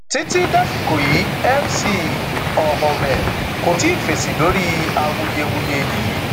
títí dasìkò yìí mc olhomme kò tí ì fèsì lórí awuyewuye yìí